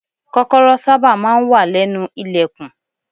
Kọ́kọ́rọ́ sábà máa ń wà lẹ́nu ilẹ̀kùn.